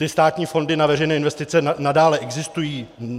Ty státní fondy na veřejné investice nadále existují.